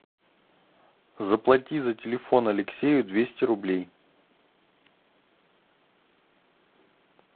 заплати за телефон алексею двести рублей